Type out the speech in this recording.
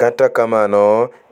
Kata kamano,